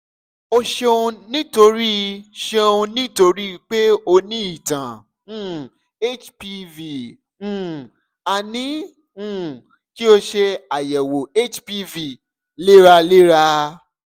o ṣeunnítorí ṣeunnítorí pé o ní ìtàn um hpv um a ní um kí o ṣe ayẹwo hpv léraléra